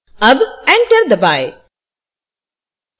अब enter दबाएँ